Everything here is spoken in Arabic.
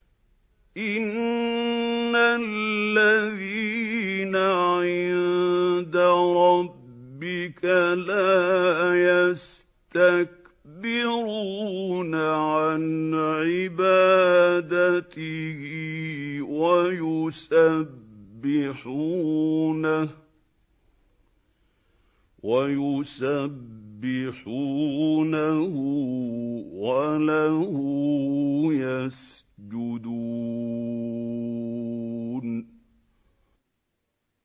إِنَّ الَّذِينَ عِندَ رَبِّكَ لَا يَسْتَكْبِرُونَ عَنْ عِبَادَتِهِ وَيُسَبِّحُونَهُ وَلَهُ يَسْجُدُونَ ۩